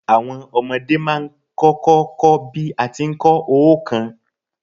Àwon omodé má a n kókó ko bí a ti n ko óòkan